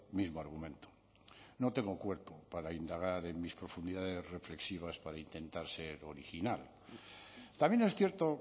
mismo argumento no tengo cuerpo para indagar en mis profundidades reflexivas para intentar ser original también es cierto